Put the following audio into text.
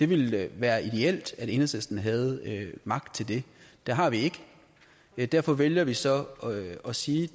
ville være ideelt at enhedslisten havde magt til det det har vi ikke derfor vælger vi så at sige